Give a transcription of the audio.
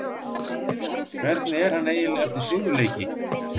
Hvernig er hann eiginlega eftir sigurleiki?